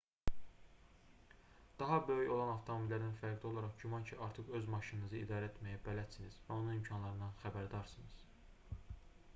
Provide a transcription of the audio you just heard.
daha böyük olan avtomobillərdən fərqli olaraq güman ki artıq öz maşınınızı idarə etməyə bələdsiniz və onun imkanlarından xəbərdarsınız